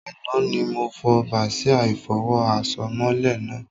Àná ni mo fo bàsíà ìfọwọ́ àsomọ́lé náà